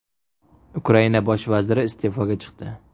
Ukraina bosh vaziri iste’foga chiqdi .